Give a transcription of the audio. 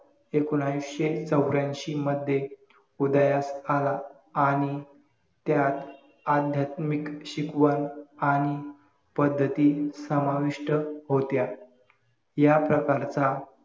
एकोणविषे चौऱ्यांशी मध्ये उदयास आला आणि त्यात आध्यात्मिक शिकवण आणि पद्धती समाविष्ट होत्या या प्रकारचा